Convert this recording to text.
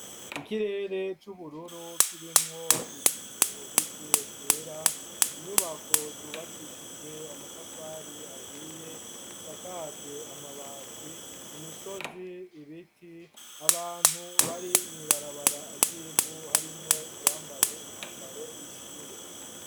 Ikirere c'ubururu kirimwo ibicubike vyera inyubako zubakishijwe amatafari ahiye zisakajwe amabati imisozi ibiti abantu bari mw'ibarabara ryivu harimwo uwambaye umwambaro w'ishure.